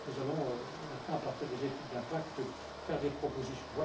Nous allons donc maintenant, à partir des études d'impact, faire des propositions.